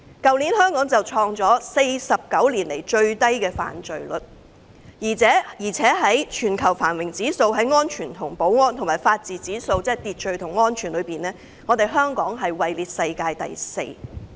去年香港創下49年來最低犯罪率的紀錄，而且就全球繁榮指數和安全及法治指數而言，即在秩序和安全方面，香港名列世界第四。